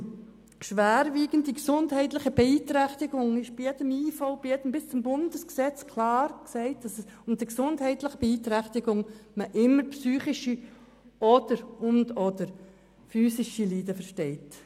In jedem Gesetz bis hin zum Bundesgesetz wird klar gesagt, dass man unter schwerwiegender gesundheitlicher Beeinträchtigung immer psychische und/oder physische Leiden versteht.